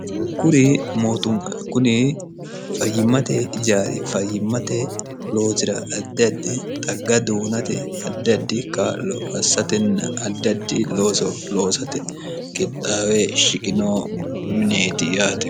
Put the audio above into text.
kuri mootuma kuni fayyimmate jaari fayyimmate lootira addaddi xagga duunate addaddi klo assatenna addaddi loosate qixxaawe shiqinoo mineeti yaate